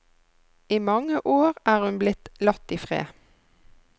I mange år er hun blitt latt i fred.